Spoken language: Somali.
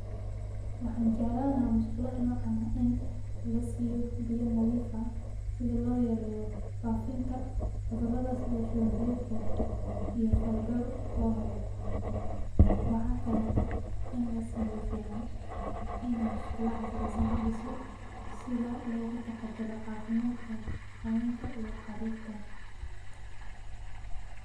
Waxan jeclani laha masqulaha nocan ah in lasiyo biyo nadhif ah si loyareyo fafinta cudurada sidhi shuwan biyodka, iyo faydor lohelo waxa kaleto in lasameyo fican ini masqula casriyesan ladiso, sidaa loga taxataro cafimadka hawenka iyo carurta.